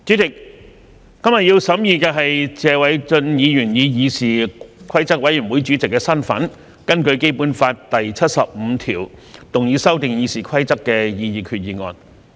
主席，今天要審議的是謝偉俊議員以議事規則委員會主席的身份根據《基本法》第七十五條動議修訂《議事規則》的擬議決議案。